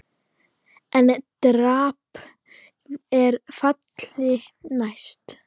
EN DRAMB ER FALLI NÆST!